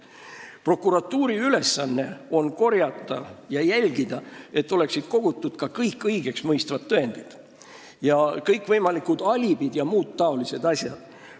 Prokuratuuri ülesanne on jälgida, et oleksid kogutud ka kõik inimest õigeks mõistvad tõendid: kõikvõimalikud alibid jms asjad.